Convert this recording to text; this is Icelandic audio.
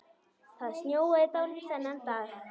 Það snjóaði dálítið þennan dag.